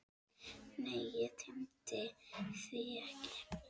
Nei, ég tímdi því ekki!